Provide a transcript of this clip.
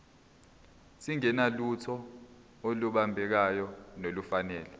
singenalutho olubambekayo nolufanele